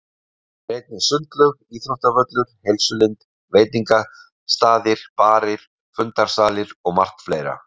Þar er einnig sundlaug, íþróttavöllur, heilsulind, veitingastaðir, barir, fundarsalir og margt fleira.